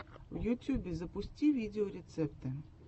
в ютьюбе запусти видеорецепты